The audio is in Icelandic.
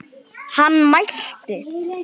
Hann mælti